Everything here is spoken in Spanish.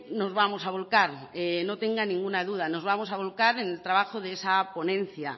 nos vamos a volcar no tenga ninguna duda nos vamos a volcar en el trabajo de esa ponencia